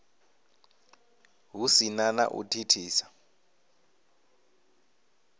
hu si na u thithisa